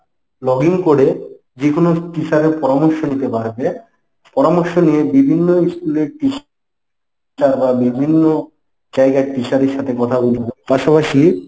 log in করে যেকোনো teacher এর পরামর্শ নিতে পারবে। পরামর্শ নিয়ে বিভিন্ন school এর teacher রা বিভিন্ন জায়গার teacher এর সাথে কথা বলতে পারবে। পাশাপাশি